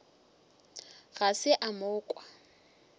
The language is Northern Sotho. ga se a mo kwa